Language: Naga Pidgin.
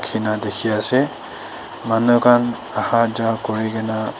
ena dikhi ase manukhan aha ja kurikena.